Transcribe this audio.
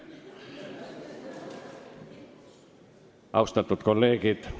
Austatud kolleegid!